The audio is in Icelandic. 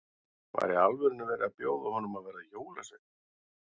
Var í alvörunni verið að bjóða honum að verða jólasveinn?